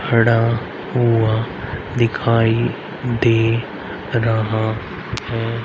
खड़ा हुआ दिखाई दे रहा है।